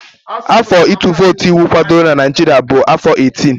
Afọ ịtụ vootu iwu kwadoro na Naịjirịa bụ afọ 18